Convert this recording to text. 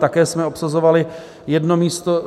Také jsme obsazovali jedno místo.